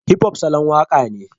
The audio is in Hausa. Hip-hop salon waka ne